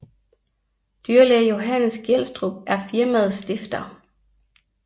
Dyrlæge Johannes Gjelstrup er firmaets stifter